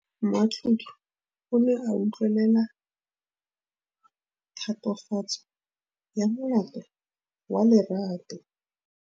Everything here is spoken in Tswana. Moatlhodi o ne a utlwelela tatofatsô ya molato wa Lerato.